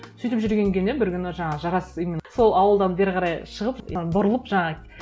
сөйтіп жүргенге не бір күні жаңағы жарас именно сол ауылдан бері қарай шығып бұрылып жаңағы